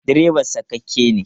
Direban sakakke ne.